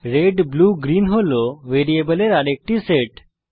red blue green হল ভ্যারিয়েবলের আরেকটি সেট